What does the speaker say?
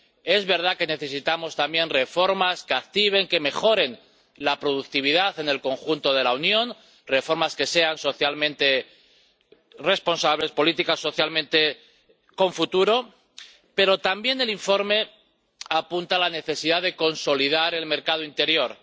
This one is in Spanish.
Es verdad que necesitamos también reformas que activen, que mejoren la productividad en el conjunto de la Unión reformas que sean socialmente responsables, políticas socialmente con futuro. Pero, también, el informe apunta a la necesidad de consolidar el mercado interior.